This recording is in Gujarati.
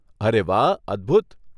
અરે વાહ, અદભૂત.